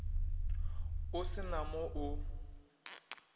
o se na mo o